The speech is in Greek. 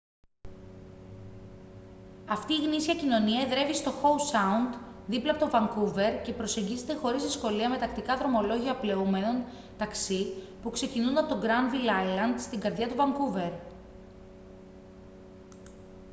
αυτή η γνήσια κοινωνία εδρεύει στο howe sound δίπλα από το vancouver και προσεγγίζεται χωρίς δυσκολία με τακτικά δρομολόγια πλεούμενων ταξί που ξεκινούν από το granville island στην καρδιά του vancouver